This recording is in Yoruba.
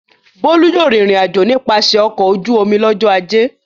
Bólú yóò rìnrìn-àjò nípasẹ̀ ọkọ̀ ojú-omi lọ́jọ́ ajé.